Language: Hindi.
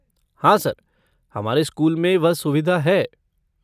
हाँ, सर, हमारे स्कूल में वह सुविधा है।